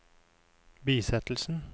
bisettelsen